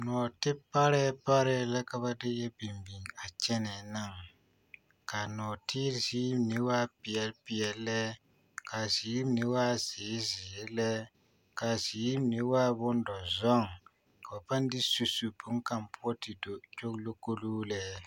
Nɔɔte parɛɛ parɛɛ la ka ba de yɛ biŋ biŋ a kyɛnɛɛ naŋ k'a nɔɔtere ziiri mine waa peɛle peɛle lɛ k'a ziiri mine waa zeere zeere lɛ k'a ziiri mine waa bondɔzɔŋ ka ba pãã de su su boŋkaŋ poɔ te do kyogilikoloo lɛ.